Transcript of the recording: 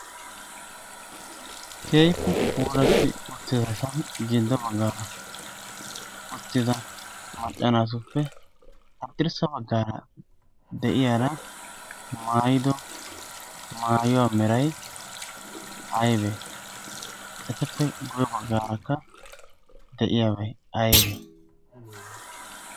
keehippe pulatti uttida so giddo baggaara uttida macca naatuppe haddirssa baggaara de7iyaara maayido maayuwaa meray aaybee? Ettappe guye baggaarakka de7iyaa aybbe?